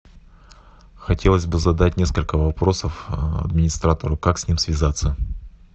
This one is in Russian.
хотелось бы задать несколько вопросов администратору как с ним связаться